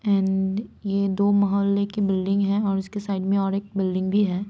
And ये दो महल्ले की बिल्डिंग है और इसके साइड में एक और बिल्डिंग भी हैं।